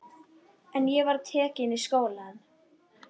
En ég var tekin í skólann.